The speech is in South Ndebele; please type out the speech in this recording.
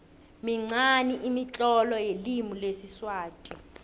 minqani imitlolo yelimi lesiswati